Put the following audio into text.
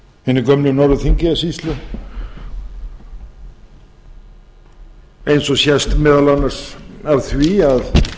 hinni gömlu norður þingeyjarsýslu eins og sést meðal annars af því að